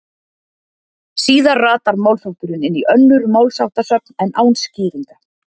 síðar ratar málshátturinn inn í önnur málsháttasöfn en án skýringa